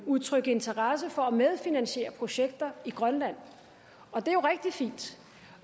udtrykt interesse for at medfinansiere projekter i grønland og det